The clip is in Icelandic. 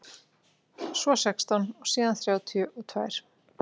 Svo sextán og síðan þrjátíu og tvær.